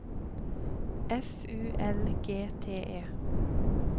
F U L G T E